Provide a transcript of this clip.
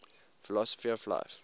philosophy of life